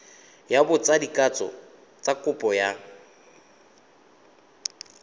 ya botsadikatsho kopo ya go